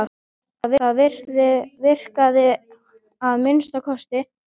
Já, það virkaði að minnsta kosti.